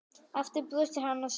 Aftur brosir hann og segir